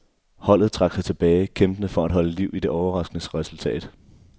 Holdet trak sig tilbage, kæmpende for at holde liv i det overraskende resultat.